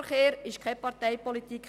Veloverkehr ist keine Parteipolitik!